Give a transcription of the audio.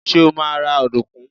Ṣé́ ó máa ra ọ̀dùnkún?